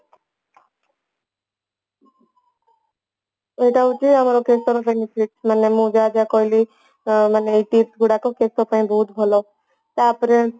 ଏତ ହଉଛି ଆମର କେଶ ର ମାନେ ମୁଁ ଯାହାଯାହା କହିଲି ଆ ମାନେ tips ଗୁଡାକ କେଶ ପାଇଁ ବହୁତ ଭଲ ତାପରେ